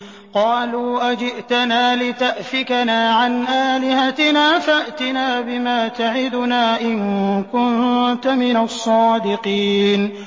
قَالُوا أَجِئْتَنَا لِتَأْفِكَنَا عَنْ آلِهَتِنَا فَأْتِنَا بِمَا تَعِدُنَا إِن كُنتَ مِنَ الصَّادِقِينَ